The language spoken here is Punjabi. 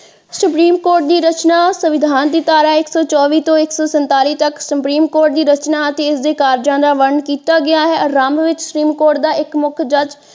ਸੁਪਰੀਮ ਕੋਰਟ ਦੀ ਰਚਨਾ ਸੰਵਿਧਾਨ ਦੀ ਧਾਰਾ ਇੱਕ ਸੋ ਚੌਵੀ ਅਤੇ ਇੱਕ ਸੋ ਸੰਤਾਲੀ ਤੱਕ ਸੁਪਰੀਮ ਕੋਰਟ ਦੀ ਰਚਨਾ ਅਤੇ ਇਸਦੇ ਕਾਰਜਾਂ ਦਾ ਵੰਡ ਕੀਤਾ ਗਿਆ ਹੈ ਆਰੰਭ ਵਿੱਚ ਸੁਪਰੀਮ ਕੋਰਟ ਦਾ ਇੱਕ ਮੱਖ ਜੱਜ।